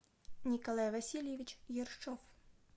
николай васильевич ершов